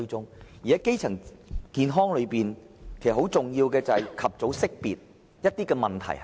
至於基層健康方面，其實，最重要的是及早識別問題所在。